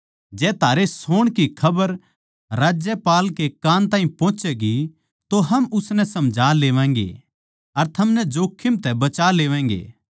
जै थारे सोण की खबर राज्यपाल कै कान ताहीं पोहोचैगी तो हम उसनै समझा लेवैगें अर थमनै जोखिम तै बचा लेवैगें